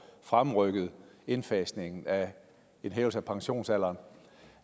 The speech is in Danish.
fremrykket indfasningen af en hævelse af pensionsalderen